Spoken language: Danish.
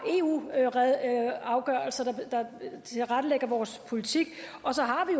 eu afgørelser der tilrettelægger vores politik og så har vi